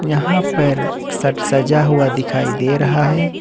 यहां पर सट सजा हुआ दिखाई दे रहा है।